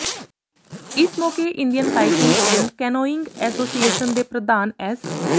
ਇਸ ਮੌਕੇ Indian kayaking and canoeing association ਦੇ ਪ੍ਰਧਾਨ ਐਸ